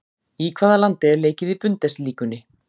Í hvaða landi er leikið í Bundesligunni?